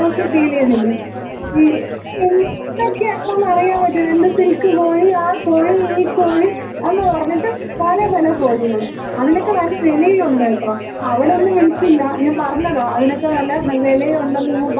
*Not ക്ലിയർ* ഇതൊക്കെയാണെന്നറിയാൻ പറ്റോ രണ്ട് സിൽക്ക് കോഴി ആ കോഴി ഈ കോഴി എന്നു പറഞ്ഞിട്ട് പല പല കോഴികള് അതിനൊക്കെ നല്ല വെലയുണ്ട്ട്ടോ അവിടെ ഒന്നും വില്‍ക്കില്ല ഞാൻ പറഞ്ഞതാ അതിനൊക്കെ നല്ല വെലയുണ്ടെന്നങ്ങ് പറഞ്ഞതാണ് മനസ്സിലായാ.